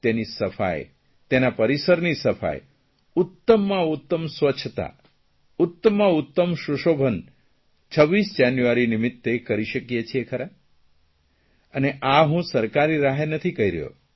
તેની સફાઇ તેના પરિસરની સફાઇ ઉત્તમમાં ઉત્તમ સ્વચ્છતા ઉત્તમાં ઉત્તમ સુશોભન 25 જાન્યુઆરી નિમિત્તે કરી શકીએ છીએ ખરા અને આ હું સરકારી રાહે નથી કહી રહ્યો